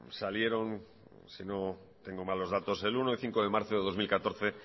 salieron si no tengo mal los datos el uno y el cinco de marzo de dos mil catorce